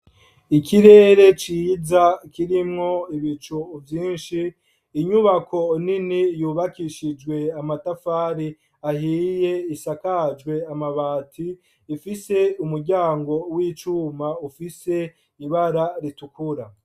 Ikirere ciza kirimwo ibicu vyinshi, inyubako nini yubakishijwe amatafari ahiye, isakajwe amabati , ifise umuryango w'icuma ufise ibara ritukura.